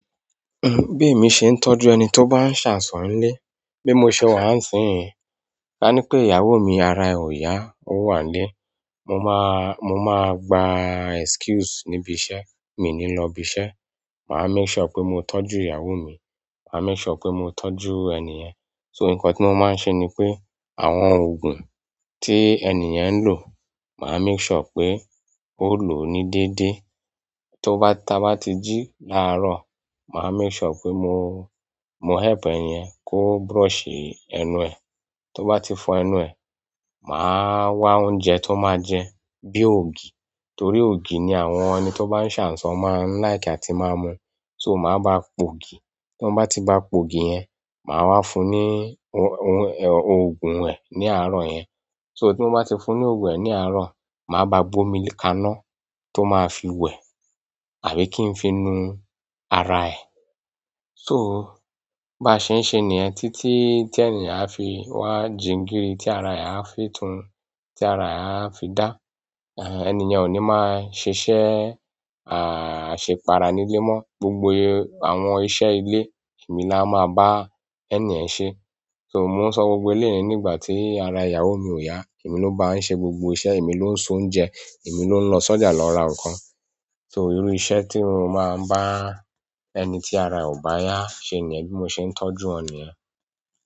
Bí èmi ṣe ń tọ́jú ẹni tó bá ń ṣàìsàn nílé, bí mo ṣe wà á nísìnyìí. A ní pé ìyàwó mi ara è ò yá, ó wà nílé. Mo máa, mo máa gba excuse níbi iṣẹ́, mi ò ní lọ ibi iṣẹ́. Màá make sure pé mo tọ́jú ìyàwó mi, màá make sure pé mo tọ́jú enìyẹn. So nǹkan tí mo máa ń ṣe ni pé àwọn òògùn tí enìyen ń lò, màá make sure pé ó lò ó ní déédé. Tó bá, t'a bá tí jí láàrò, màá make sure pé mo, mo help enìyen kó brúshì ẹnu è tó bá ti fọ ẹnu ẹ̀, màá wá oúnjẹ tó máa jẹ bí ògì. Torí ògì ni àwọn ẹni tó bá ń ṣàìsàn máa ń like àti máa mu. So màá ba pò'gì. Tí n bá ti ba pò'gì yẹn, màá wá fún un ní òògùn ẹ̀ ní àárọ̀ yẹn. So tí mo bá ti fún ní òògùn ẹ̀ ní àárọ̀, màá ba gbé omi kaná tó máa fi wẹ̀ àbí kí n fi nu ara ẹ̀. To, báa ṣé ń ṣe nìyen títí tí enìyen á fi wá jingíri, tí ara è á fi tun, tí ara è á fi dá. Enìyẹn ò ní máa ṣiṣẹ́, àṣepara nílé mọ́. Gbogbo àwọn iṣẹ́ ilé èmi la máa bá ẹnìyẹn ṣe é. So mo ń sọ gbogbo eléyìí ní ìgbà tí ara ìyàwó mi ò yá. Èmi ló ń bá ń ṣe gbogbo iṣẹ́, èmi ló ń s'oúnjẹ, èmi ló ń lọ sọ́jà lọ ra nǹkan. So, irú iṣẹ́ tí mo máa n bá ẹni tí ara è ò bá yá se nìyen. Bí mo n sé n tójú won nìyen.